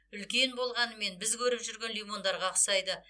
үлкен болғанымен біз көріп жүрген лимондарға ұқсайды